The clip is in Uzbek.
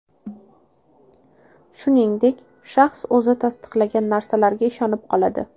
Shuningdek, shaxs o‘zi tasdiqlagan narsalarga ishonib qoladi.